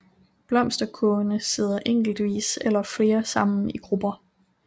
Blomsterkurvene sidder enkeltvis eller flere sammen i grupper